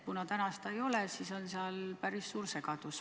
Kuna täna seda ei ole, siis on seal päris suur segadus.